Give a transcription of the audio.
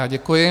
Já děkuji.